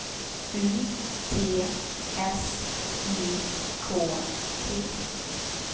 U T S I K T